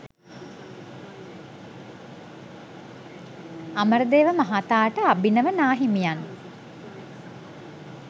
අමරදේව මහතාට අභිනව නාහිමියන්